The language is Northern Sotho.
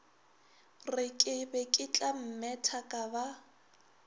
re ke beketlammetha ka ba